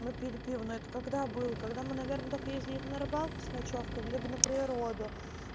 выпили пива ну это когда был когда мы наверное так ездит на рыбалку с ночёвкой либо на природу